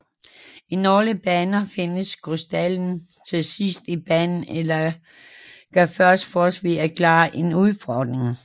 I nogle baner findes krystallen til sidst i banen eller kan først fås ved at klare en udfordring